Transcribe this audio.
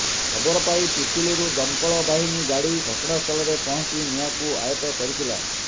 ଖବର ପାଇ ପିପିଲିରୁ ଦମକଳ ବାହିନୀ ଗାଡି ଘଟଣାସ୍ଥଳରେ ପହଞ୍ଚି ନିଆଁକୁ ଆୟତ କରିଥିଲା